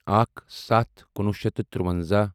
اکھ سَتھ کُنوُہ شیٚتھ تہٕ تُرٛوَنٛزاہ